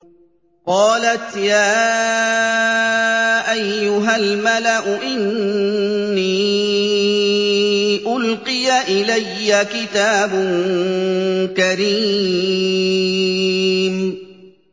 قَالَتْ يَا أَيُّهَا الْمَلَأُ إِنِّي أُلْقِيَ إِلَيَّ كِتَابٌ كَرِيمٌ